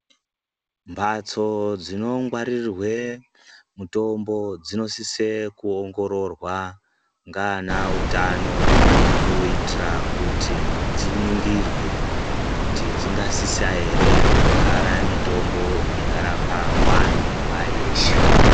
Mbatso dzinongwaririrwe mutombo dzinosise kuongoroorwa nganautano kuitira kuti dziningirwe kuti dzingasisa ere kugara mitombo ingarapa vantu nguwa yeshe.